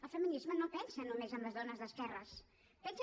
el feminisme no pensa només en les dones d’esquerres pensa